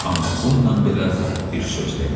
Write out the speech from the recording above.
Amma bununla belə bir söz demədi.